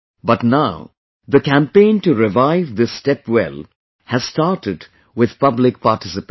But now the campaign to revive this step well has started with public participation